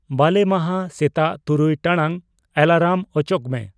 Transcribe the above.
ᱵᱟᱞᱮᱢᱟᱦᱟ ᱥᱮᱛᱟᱜ ᱛᱩᱨᱩᱭ ᱴᱟᱲᱟᱝ ᱮᱞᱟᱨᱟᱢ ᱚᱪᱚᱜ ᱢᱮ